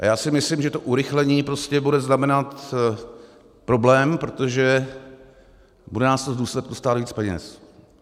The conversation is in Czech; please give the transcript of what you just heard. A já si myslím, že to urychlení prostě bude znamenat problém, protože bude nás to v důsledku stát víc peněz.